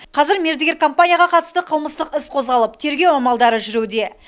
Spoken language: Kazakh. қазір мердігер компанияға қатысты қылмыстық іс қозғалып тергеу амалдары жүруде